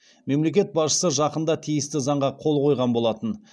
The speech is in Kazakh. мемлекет басшысы жақында тиісті заңға қол қойған болатын